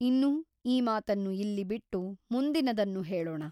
ಇನ್ನು ಈ ಮಾತನ್ನು ಇಲ್ಲಿ ಬಿಟ್ಟು ಮುಂದಿನದನ್ನು ಹೇಳೋಣ.